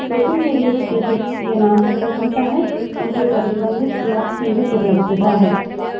local variables जैसे के name से पता चलता है उनकी प्रतिबंधित या सीमित उपलब्धता है